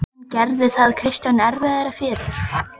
En gerði það Kristjáni erfiðara fyrir?